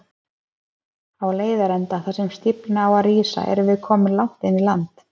Á leiðarenda, þar sem stíflan á að rísa, erum við komin langt inn í land.